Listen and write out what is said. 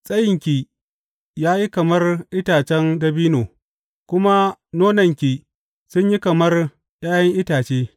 Tsayinki ya yi kamar itacen dabino, kuma nonanki sun yi kamar ’ya’yan itace.